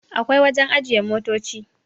akwai wajen ajiye motoci